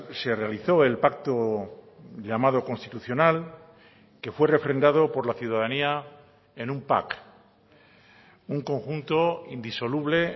se realizó el pacto llamado constitucional que fue refrendado por la ciudadanía en un pack un conjunto indisoluble